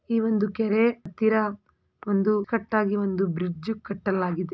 ಈ ಕೆರೆ ಹತ್ತಿರ ಒಂದು ಕಟ್ಟಾಗಿ ಒಂದು ಬ್ರಿಡ್ಜ್ ಕಟ್ಟಲಾಗಿದೆ.